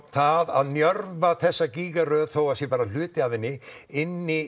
það að njörva þessa gígaröð þó það sé bara hluti af henni inn í